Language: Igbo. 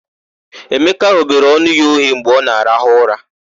Emeka ghobere ọnụ ya oghe mgbe ọ na-arahụ ụra.